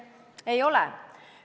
Ei ole.